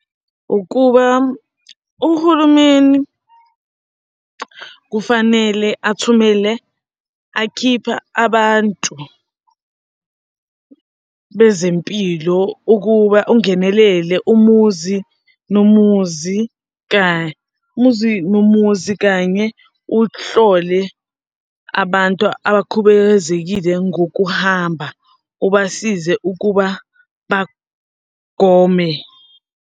Ukuba uhulumeni kufanele athumele akhipha abantu bezempilo ukuba ungenelele umuzi nomuzi, umuzi nomuzi kanye uhlole abantu abakhubazekile ngokuhamba, ubasize ukuba bagome.